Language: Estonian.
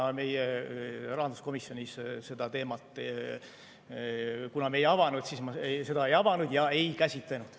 Aga meie rahanduskomisjonis seda teemat ei avanud ja me seda ei käsitlenud.